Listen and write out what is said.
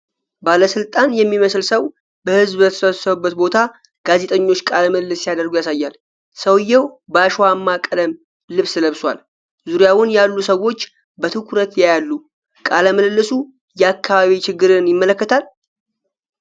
ባለስልጣን የሚመስል ሰው በህዝብ በተሰበሰበበት ቦታ ጋዜጠኞች ቃለ ምልልስ ሲያደርጉ ያሳያል። ሰውዬው በአሸዋማ ቀለም ልብስ ለብሷል። ዙሪያውን ያሉ ሰዎች በትኩረት ያያሉ። ቃለ ምልልሱ የአካባቢ ችግርን ይመለከታል?